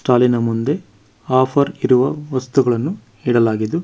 ಸ್ಟಾಲಿ ನ ಮುಂದೆ ಆಫರ್ ಇರುವ ವಸ್ತುಗಳನ್ನು ಇಡಲಾಗಿದ್ದು.